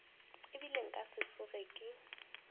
ebile nka se tsoge ke